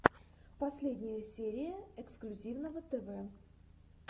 последняя серия эксклюзивного тв